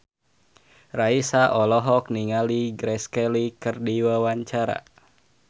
Raisa olohok ningali Grace Kelly keur diwawancara